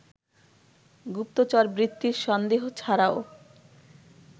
গুপ্তরচরবৃত্তির সন্দেহ ছাড়াও